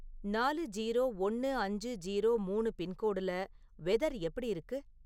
நாலு ஜீரோ ஒண்ணு அஞ்சு ஜீரோ மூணு பின்கோடுல வெதர் எப்படி இருக்கு?